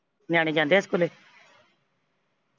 ਨਿਆਣੇ ਜਾਂਦੇ ਆ ਸਕੂਲੇ